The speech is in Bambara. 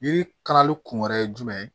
Yiri kalali kun wɛrɛ ye jumɛn ye